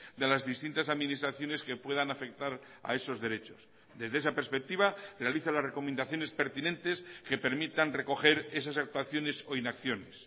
de las distintas administraciones que puedan afectar a esos derechos desde esa perspectiva realiza las recomendaciones pertinentes que permitan recoger esas actuaciones o inacciones